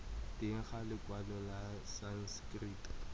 teng ga lekwalo la sanskrit